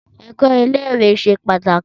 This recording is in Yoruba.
Ẹ̀kọ́ ilé ìwé ṣe pàtàkì